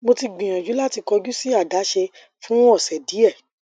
mo ti gbiyanju lati kọju si adaṣe fun ọsẹ diẹ